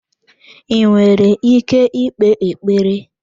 I nwere ike ikpe ekpere?